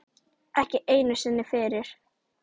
Ekki einu sinni fyrir